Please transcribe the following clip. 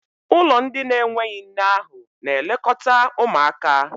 ụlọ ndị na-enweghị nne ahu na-elekọta ụmụaka.